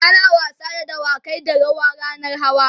ana wasa da dawakai da yawa rannan hawa